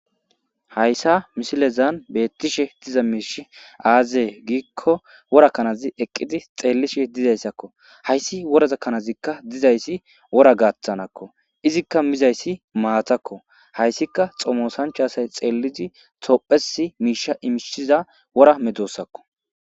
hayssa misilezan beettishe diza miishi aazee giikko worakkanazi eqqidi xeellishe dizayssakko hayssi worazakkanazikka dizayssi wora gaaththanakko izikka mizayssi maatakko hayssika xomosanchasay xeellizi tophesi miisha imishiza wora medossakko